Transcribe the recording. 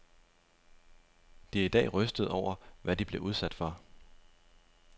De er i dag rystede over, hvad de blev udsat for.